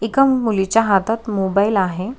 एका मुलीच्या हातात मोबाईल आहे.